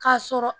K'a sɔrɔ